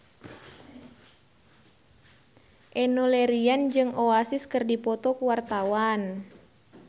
Enno Lerian jeung Oasis keur dipoto ku wartawan